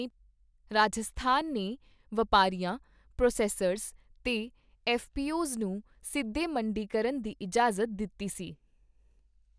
ਰਾਜਸਥਾਨ ਨੇ ਵਪਾਰੀਆਂ, ਪ੍ਰੋਸੈੱਸਰਜ਼ ਤੇ ਐੱਫ਼ਪੀਓਜ਼ ਨੂੰ ਸਿੱਧੇ ਮੰਡੀਕਰਨ ਦੀ ਇਜਾਜ਼ਤ ਦਿੱਤੀ ਸੀ।